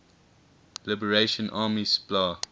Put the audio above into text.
liberation army spla